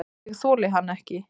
Ég þoli hann ekki.